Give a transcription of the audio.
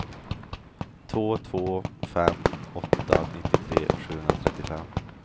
två två fem åtta nittiotre sjuhundratrettiofem